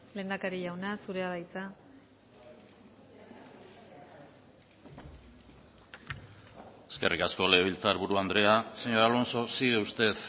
lehendakari jauna zurea da hitza eskerrik asko legebiltzarburu andrea señor alonso sigue usted